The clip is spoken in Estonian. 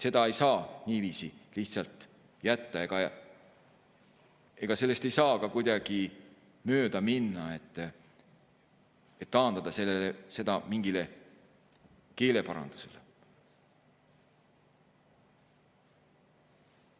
Seda ei saa niiviisi lihtsalt jätta, sellest ei saa ka kuidagi mööda minna või taandada seda mingile keeleparandusele.